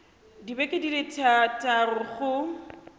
dibeke di le thataro go